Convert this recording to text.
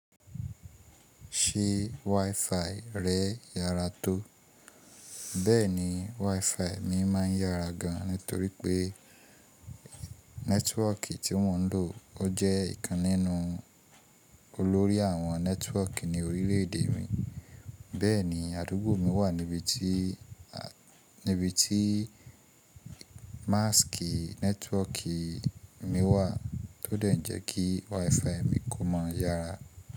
Ṣé WiFi rẹ yára tó? Bẹ́ẹ̀ni, WiFi mi máa ń yára gan nítorí pé nẹ́tíwọkì tí mò ń lò ó jẹ́ ìkan nínú olórí àwọn nẹ́tíwọkì ní orílẹ̀ èdè mi. Bẹ́ẹ̀ni, àdúgbò mi wà níbi tí, níbi tí máskì nẹ́tíwọkì mi wà, ó dẹ̀ jẹ́ kí WiFi mi kó máa yára.